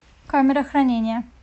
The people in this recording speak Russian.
камера хранения